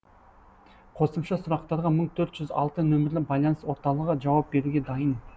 қосымша сұрақтарға мың төрт жүз алты нөмірлі байланыс орталығы жауап беруге дайын